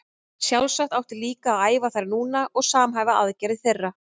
Sjálfsagt átti líka að æfa þær núna og samhæfa aðgerðir þeirra.